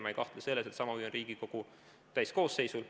Ma ei kahtle selles, et sama huvi on Riigikogu täiskoosseisul.